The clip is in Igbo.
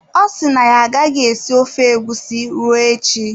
Ọ si na ya agaghị esi ofe egusi ruo echi.